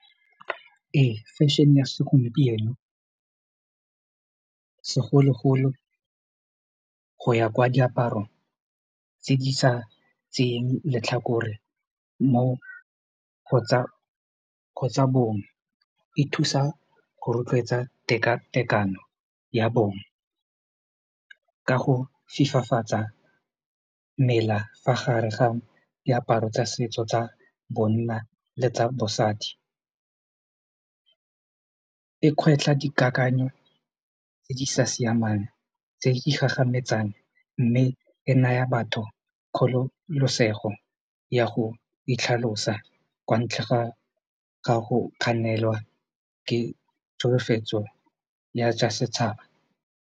Ee, fashion-e ya segompieno segologolo go ya kwa diaparo tse di sa tseyeng letlhakore mo go tsa bong e thusa go rotloetsa tekatekano ya bong ka go fifafatsa mela fa gare ga diaparo tsa setso tsa bonna le tsa bosadi e kgwetlha dikakanyo tse di sa siamang tse di gagametsang mme e naya batho kgololosego ya go itlhalosa kwa ntle ga gago kganelwa ke tsholofetso ya tsa setšhaba.